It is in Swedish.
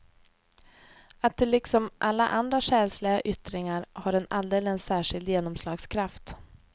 Att det liksom alla andra själsliga yttringar har en alldeles särskild genomslagskraft.